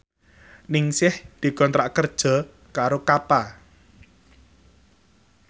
Ningsih dikontrak kerja karo Kappa